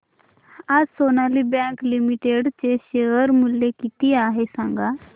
आज Sonali bank limited चे share मूल्य किती आहे सांगा